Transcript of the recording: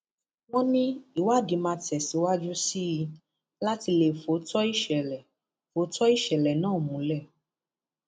wọn ní ìwádìí máa tẹsíwájú sí i láti lè fóòótọ ìṣẹlẹ fóòótọ ìṣẹlẹ náà múlẹ